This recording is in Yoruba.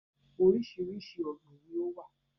Oríṣiríṣi ọ̀gbín ni ó wà